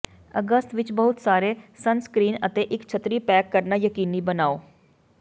ਅਗਸਤ ਵਿਚ ਬਹੁਤ ਸਾਰੇ ਸਨਸਕ੍ਰੀਨ ਅਤੇ ਇਕ ਛੱਤਰੀ ਪੈਕ ਕਰਨਾ ਯਕੀਨੀ ਬਣਾਓ